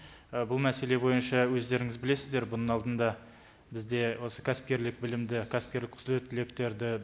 і бұл мәселе бойынша өздеріңіз білесіздер бұның алдында бізде осы кәсіпкерлік білімді кәсіпкерлік құзыреттіліктерді